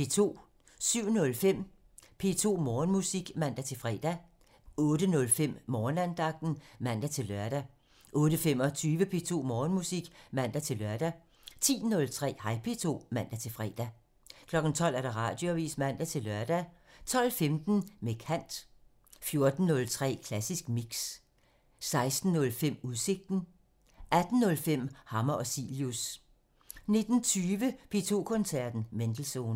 07:05: P2 Morgenmusik (man-fre) 08:05: Morgenandagten (man-lør) 08:25: P2 Morgenmusik (man-lør) 10:03: Hej P2 (man-fre) 12:00: Radioavisen (man-lør) 12:15: Med kant (Afs. 45) 14:03: Klassisk Mix (Afs. 246) 16:05: Udsigten (Afs. 221) 18:05: Hammer og Cilius (Afs. 45) 19:20: P2 Koncerten – Mendelssohn (Afs. 223)